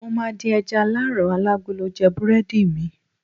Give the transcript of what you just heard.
mo ma di eja alaran alagolo je burẹdi mi